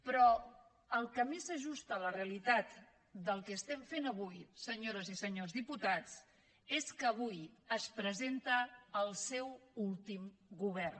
però el que més s’ajusta a la realitat del que estem fent avui senyores i senyors diputats és que avui es presenta el seu últim govern